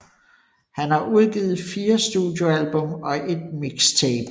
Han har udgivet 4 studioalbum og et mixtape